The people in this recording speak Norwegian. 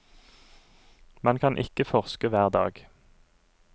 Man kan ikke forske hver dag.